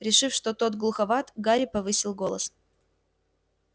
решив что тот глуховат гарри повысил голос